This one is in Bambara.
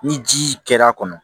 Ni ji kɛra a kɔnɔ